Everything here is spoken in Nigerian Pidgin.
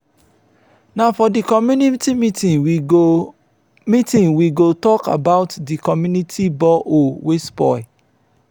na for di community meeting we go meeting we go tok about di community borehole wey spoil.